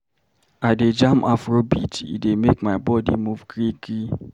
I dey jam Afrobeat, e dey make my body move gree-gree.